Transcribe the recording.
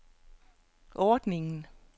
ordningen